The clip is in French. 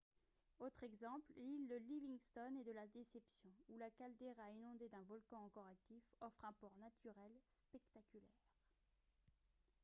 autres exemples l'île de livingston et de la déception où la caldeira inondée d'un volcan encore actif offre un port naturel spectaculaire